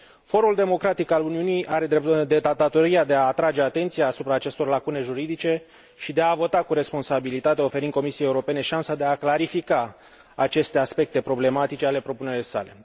Forul democratic al Uniunii are datoria de a atrage atenția asupra acestor lacune juridice și de a vota cu responsabilitate, oferind Comisiei Europene șansa de a clarifica aceste aspecte problematice ale propunerii sale.